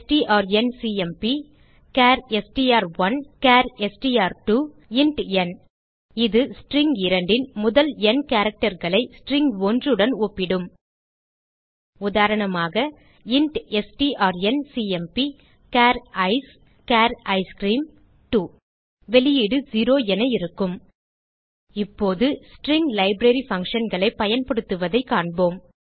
strncmpசார் எஸ்டிஆர்1 சார் எஸ்டிஆர்2 இன்ட் ந் இது ஸ்ட்ரிங் 2 ன் முதல் ந் characterகளை ஸ்ட்ரிங் 1 உடன் ஒப்பிடும் உதாரணமாக இன்ட் strncmpசார் ஐசிஇ சார் ஐஸ்கிரீம் 2 வெளியீடு 0 என இருக்கும் இப்போது ஸ்ட்ரிங் லைப்ரரி functionகளை பயன்படுத்துவதைக் காண்போம்